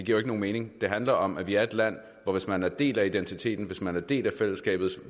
jo ikke nogen mening det handler om at vi er et land hvor man hvis man er en del af identiteten hvis man er en del af fællesskabet